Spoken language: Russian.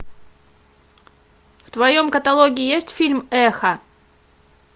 в твоем каталоге есть фильм эхо